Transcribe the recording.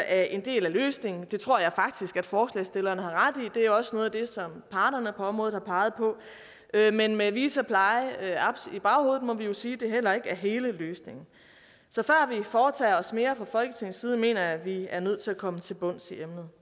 er en del af løsningen det tror jeg faktisk at forslagsstillerne har ret i det er også noget af det som parterne på området har peget på men med vita pleje aps i baghovedet må vi jo sige at det heller ikke er hele løsningen så før vi foretager os mere fra folketingets side mener jeg at vi er nødt til at komme til bunds i emnet